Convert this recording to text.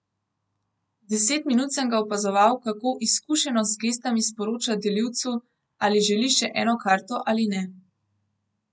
Deset minut sem ga opazoval, kako izkušeno z gestami sporoča delivcu, ali želi še eno karto ali ne.